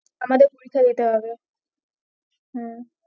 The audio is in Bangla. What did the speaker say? আমাদের পরীক্ষা দিতে হবে হম